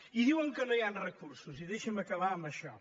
i diuen que no hi han recursos i deixin·me acabar amb això